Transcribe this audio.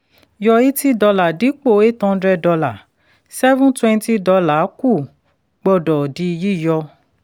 yọ eighty dollar dípò eight hundred dollar seven twenty dollar kù gbọ́dọ̀ di yíyọ.